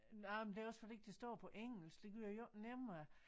Nej men det er også fordi det står på engelsk det gør det jo ikke nemmere